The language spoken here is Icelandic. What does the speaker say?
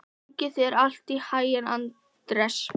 Gangi þér allt í haginn, Anders.